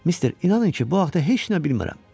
Mister inanın ki, bu haqda heç nə bilmirəm.